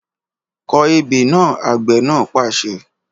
Kọ ebè náà! Àgbẹ̀ náà pàṣẹ